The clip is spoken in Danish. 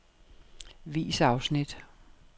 Vis afsnit.